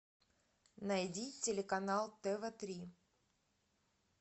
найди телеканал тв три